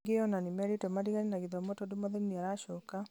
angĩ ona nĩmerĩtwo matigane na gĩthomo tondũ mwathani nĩaracoka